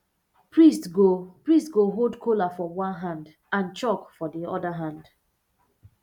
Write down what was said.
priest go priest go hold kola for one hand and chalk for the other hand